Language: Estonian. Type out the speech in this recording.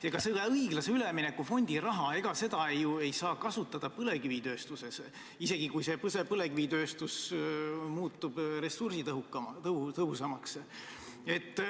Ega seda õiglase ülemineku fondi raha ei saa ju kasutada põlevkivitööstuses, isegi kui põlevkivitööstus muutub ressursitõhusamaks.